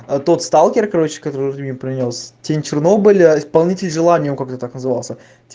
а тот сталкер короче которую ты мне принёс тень чернобыля исполнитель желаний он как-то так назывался